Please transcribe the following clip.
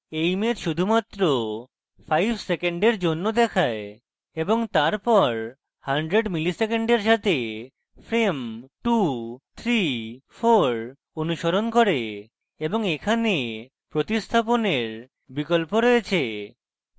সুতরাং এই image শুধুমাত্র 5 সেকেন্ডের জন্য দেখায় এবং তারপর100 milliseconds সাথে frames 234 অনুসরণ করে এবং এখানে প্রতিস্থাপনের বিকল্প রয়েছে